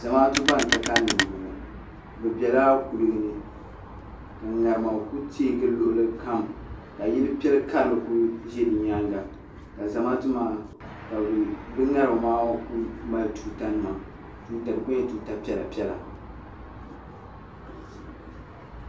Zamaatu ban ka kalinli m-bɔŋɔ ka ŋarima kuli teei gili luɣilikam ka yili piɛl'karili kuli ʒe di nyaaŋa ka Zamaatu maa ka bɛ ŋarima maa kuli mali tuutanima di kuli nyɛla tuuta piɛla piɛla.